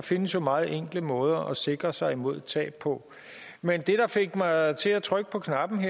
findes jo meget enkle måder at sikre sig imod tab på men det der fik mig til at trykke på knappen